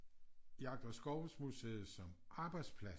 Jagt- og Skovsmuseet som arbejdsplads